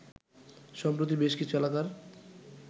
সম্প্রতি বেশ কিছু এলাকার